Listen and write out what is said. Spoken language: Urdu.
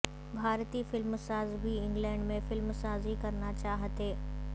بھارتی فلم ساز بھی انگلیڈ میں فلم سازی کرنا چاہتے